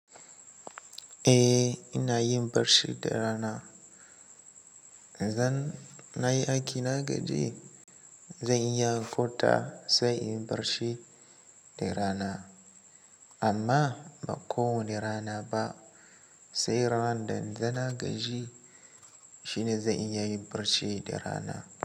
Eh ina yin barci da rana. Zan, na yi aiƙi na gaji, zan iya kwanta sai in yi barci da rana. Amma ba kowani rana ba, sai ran da na gaji shine zan iya yin barci da rana.